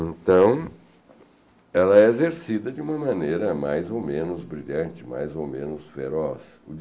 Então, ela é exercida de uma maneira mais ou menos brilhante, mais ou menos feroz.